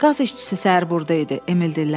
Qaz işçisi səhər burda idi, Emil dilləndi.